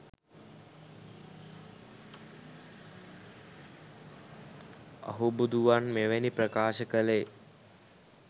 අහුබුදුවන් මෙවැනි ප්‍රකාශ කළේ